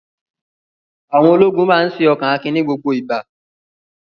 Àwọn ologun máa ṣe ọkan akin ní gbogbo ìgbà.